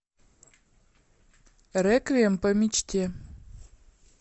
реквием по мечте